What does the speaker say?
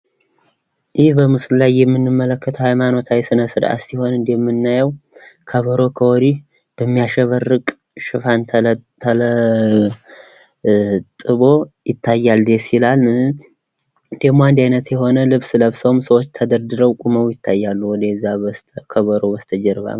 ይህ በምስሉ ላይ የምንመለከተው ሃይማኖታዊ ስነ ስርአት ሲሆን እንደምናየው ከበሮ ከወዲህ በሚያሸበርቅ ሽፋን ተለጥቦ ይታያል ደስይላል። ደግሞ አንድ አይነት የሆነ ልብስ ለብሰው ሰዎች ተደርድረውም ያታያሉ ከከበሮ በስተጀርባ።